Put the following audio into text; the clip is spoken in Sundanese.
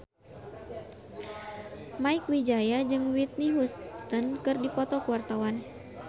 Mieke Wijaya jeung Whitney Houston keur dipoto ku wartawan